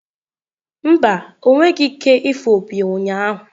Mba, ọ nweghị ike ịfụ opi ụnyahụ.